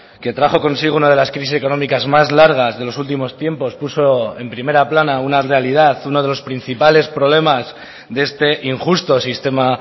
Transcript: que trajo consigo una de las crisis económicas más largas de los últimos tiempos puso en primera plana una realidad uno de los principales problemas de este injusto sistema